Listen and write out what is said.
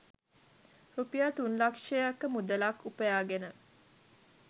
රුපියල් තුන් ලක්ෂයක මුදලක් උපයාගෙන